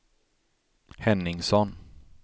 Henningsson